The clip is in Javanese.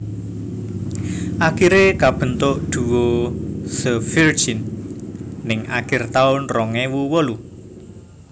Akiré kabentuk duo The Virgin ning akir taun rong ewu wolu